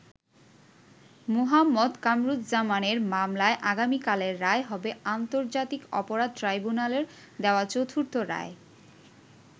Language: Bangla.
মুহাম্মদ কামারুজ্জামানের মামলায় আগামিকালের রায় হবে আন্তর্জাতিক অপরাধ ট্রাইব্যুনালের দেওয়া চতুর্থ রায়।